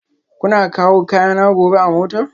Kuna kawo kayana gobe a mota?